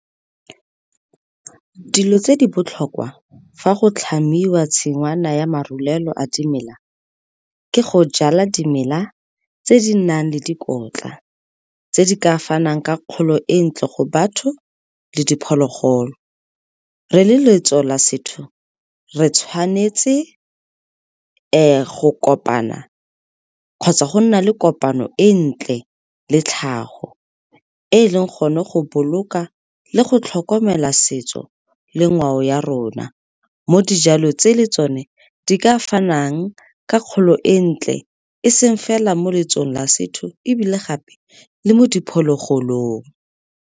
Dilo tse di botlhokwa fa go tlhamiwa tshingwana ya marulelo a dimela ke go jala dimela tse di nang le dikotla, tse di ka fanang ka kgolo e ntle go batho le diphologolo. Re le letso la setho, re tshwanetse go kopana kgotsa go nna le kopano e ntle le tlhago, e e leng gone go boloka le go tlhokomela setso le ngwao ya rona mo dijalo tse le tsone di ka fanang ka kgolo e ntle eseng fela mo letsong la setho ebile gape le mo diphologolong.